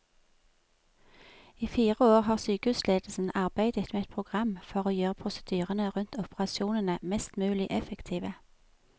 I fire år har sykehusledelsen arbeidet med et program for å gjøre prosedyrene rundt operasjonene mest mulig effektive.